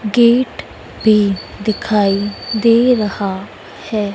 Gate पे दिखाई दे रहा है।